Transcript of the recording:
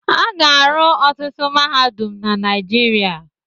A ga-arụ ọtụtụ mahadum na Naịjirịa n'ọdịnihu.